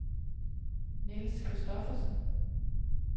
Niels Kristoffersen